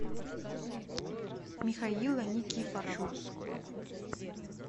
михаила никифорова